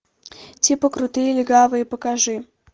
типа крутые легавые покажи